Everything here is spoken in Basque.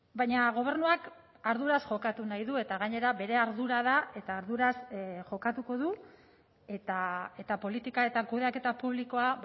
baina gobernuak arduraz jokatu nahi du eta gainera bere ardura da eta arduraz jokatuko du eta politika eta kudeaketa publikoa